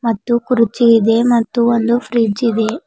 ಮತ್ತು ಕುರುಚಿ ಇದೆ ಮತ್ತು ಒಂದು ಫ್ರಿಡ್ಜ್ ಇದೆ.